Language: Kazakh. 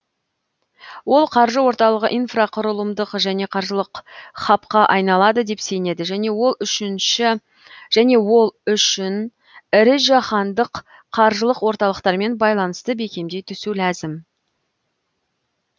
ол қаржы орталығы инфрақұрылымдық және қаржылық хабқа айналады деп сенеді және ол үшін ірі жаһандық қаржылық орталықтармен байланысты бекемдей түсу ләзім